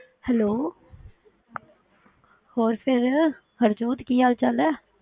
Hello ਹੋਰ ਫਿਰ ਹਰਜੋਤ ਕੀ ਹਾਲ ਚਾਲ ਹੈ?